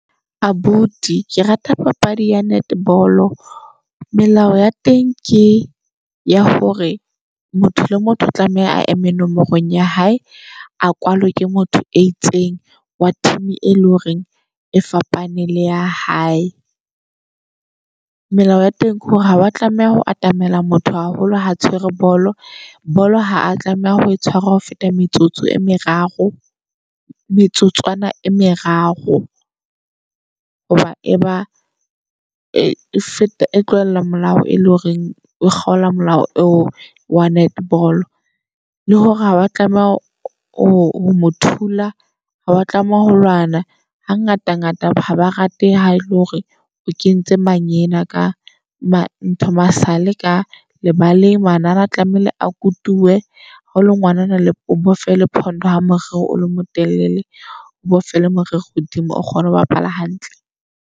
Abuti ke rata papadi ya netball, melao ya teng ke ya hore motho le motho o tlameha a eme nomorong ya hae, a kwalwe ke motho e itseng wa team, e leng hore e fapaneng le ya hae. Melao ya teng ke hore ha wa tlameha ho atamela motho haholo ha tshwere bolo bolo ha a tlameha ho e tshware ho feta metsotso e meraro metsotswana e meraro. Hoba e ba e feta e tlohella molao e le horeng o kgola molao eo wa netball. Le hore ha wa tlameha ho mo thula ha wa tlameha ho lwana ha ngata ngata ha ba rate ha ele hore o kentse manyena ka ma ntho masale ka lebale ng. Manala tlamehile a kutuwe hao le ngwanana o bofe lephondo ha moriri wa hao o le motelele. O bofela moriri hodimo o kgone ho bapala hantle.